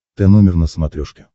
тномер на смотрешке